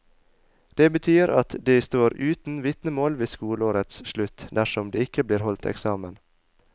Det betyr at de står uten vitnemål ved skoleårets slutt, dersom det ikke blir holdt eksamen.